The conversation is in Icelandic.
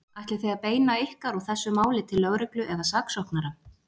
Ætlið þið að beina ykkar og þessu máli til lögreglu eða saksóknara?